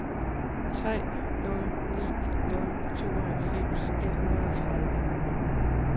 tre nul ni nul tooghalvfems et hundrede og tredive